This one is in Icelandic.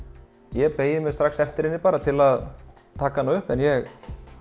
ég beygi mig strax eftir henni til að taka hana upp en ég